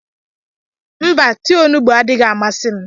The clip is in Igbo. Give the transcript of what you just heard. Mba, tii onugbu adịghị amasị m.